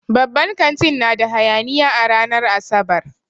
Babban kantin na da hayaniya a ranar Asabar.